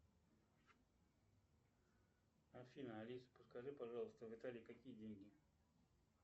афина алиса подскажи пожалуйста в италии какие деньги